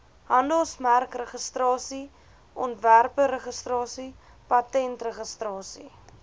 handelsmerkregistrasie ontwerpregistrasie patentregistrasie